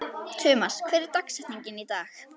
Tumas, hver er dagsetningin í dag?